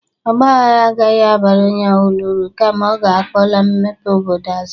Ọgba ahara agahị abara onye ọbụla uru, kama ọ ga-akpọla mepe obodo azụ.